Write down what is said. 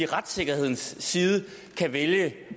retssikkerhedens side kan vælge